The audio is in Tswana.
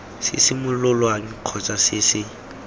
se simololwang kgotsa se se